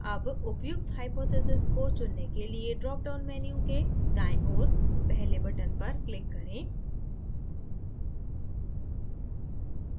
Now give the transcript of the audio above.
अब उपयुक्त hypothesis को चुनने के लिए dropdown menu के दाएँ ओर पहले button पर click करें